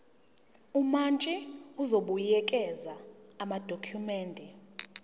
umantshi uzobuyekeza amadokhumende